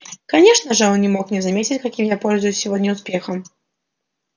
конечно же он не мог не заметить каким я пользуюсь сегодня успехом